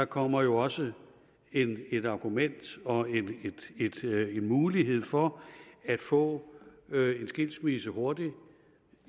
kommer jo også et argument og en mulighed for at få en skilsmisse hurtigt